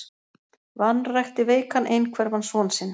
Vanrækti veikan einhverfan son sinn